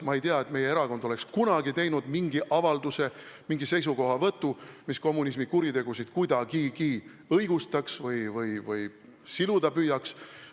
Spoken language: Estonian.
Ma ei tea, et meie erakond oleks kunagi teinud mingi avalduse, esitanud mingi seisukohavõtu, mis kommunismi kuritegusid kuidagigi õigustaks või siluda püüaks.